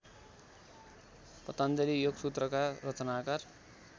पतञ्जलि योगसूत्रका रचनाकार